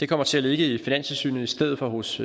kommer til at ligge i finanstilsynet i stedet for hos